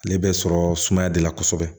Ale bɛ sɔrɔ sumaya de la kosɛbɛ